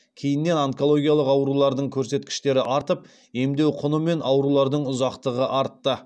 кейіннен онкологиялық аурулардың көрсеткіштері артып емдеу құны мен аурулардың ұзақтығы артты